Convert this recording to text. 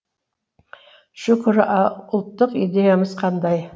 шүкір ал ұлттық идеямыз қандай